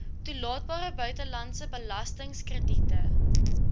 toelaatbare buitelandse belastingkrediete